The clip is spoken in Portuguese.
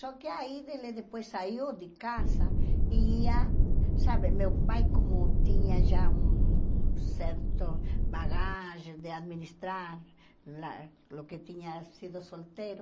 Só que aí ele depois saiu de casa e ia... Sabe, meu pai como tinha já um certo bagagem de administrar, a o que tinha sido solteiro,